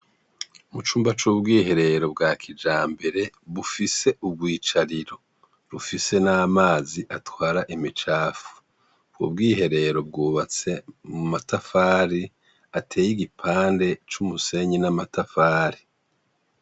Mu cumba c'ubwihereero bwa kija mbere bufise ubwicariro rufise n'amazi atwara emicafu bu bwihereero bwubatse mu matafari ateye igipande c'umusenyi n'amatafari.